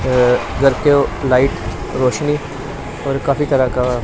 घर के लाइट रोशनी और काफी तरह का।